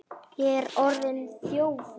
Ég er orðinn þjófur.